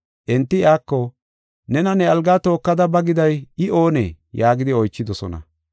Enti iyako, “Nena, ne algaa tookada ba giday I oonee?” yaagidi oychidosona.